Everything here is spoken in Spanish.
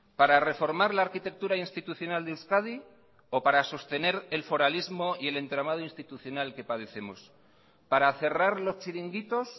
para reformar la arquitectura institucional de euskadi o para sostener el foralismo y el entramado institucional que padecemos para cerrar los chiringuitos